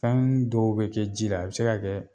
Fɛnnu dɔw bi kɛ ji la a bi se ka kɛ